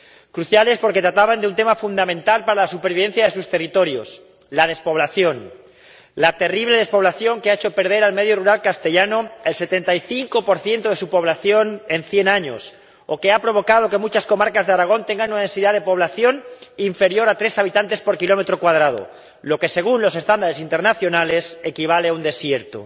Cruciales, porque trataban de un tema fundamental para la supervivencia de sus territorios la despoblación, la terrible despoblación que ha hecho perder al medio rural castellano el 75 de su población en cien años o que ha provocado que muchas comarcas de Aragón tengan una densidad de población inferior a tres habitantes por kilómetro cuadrado, lo que según los estándares internacionales equivale a un desierto.